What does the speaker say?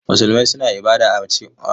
Musulmai suna kiran Ubangiji Allah.